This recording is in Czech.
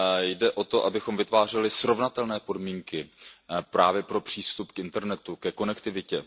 Jde o to, abychom vytvářeli srovnatelné podmínky právě pro přístup k internetu, ke konektivitě.